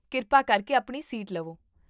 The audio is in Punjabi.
ਕਿਰਪਾ ਕਰਕੇ ਆਪਣੀ ਸੀਟ ਲਵੋ